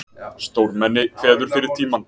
Stórmenni kveður fyrir tímann